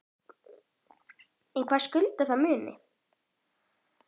En hverju skyldi það muna?